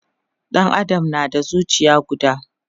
Ɗan Adam na da zucia guda